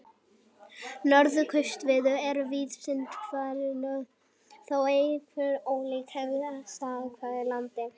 Notkunarsviðin eru víðast hvar hin sömu þótt áherslur séu ólíkar eftir aðstæðum í hverju landi.